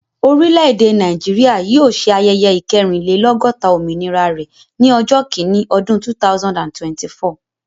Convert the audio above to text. Orile-ede Naijiria yóò ṣe ayẹyẹ ikerinlelogota òmìnira rẹ ni ọjọ́ kini ọdún 2024